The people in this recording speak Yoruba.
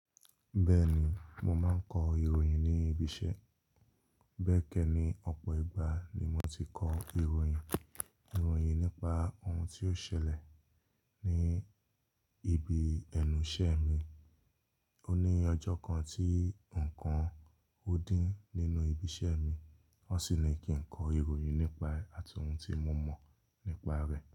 Bẹ́ẹ̀ni, mo máa n kọ ìròyìn ní ibi iṣẹ́. Bẹ́ẹ̀kẹ̀ ni ọ̀pọ̀ ìgbà ni mo ti kọ ìròyìn, ìròyìn nípa ohun tí ó ṣẹlẹ̀ ní ibi ẹnu iṣẹ́ mi. O ní ọjọ́ kan tí nǹkan nkan dín nínú ibi iṣẹ́ mi, wọ́n sì ní kí n kọ ìròyìn nípa e àti ohun tí mo mọ̀ nípa rẹ̀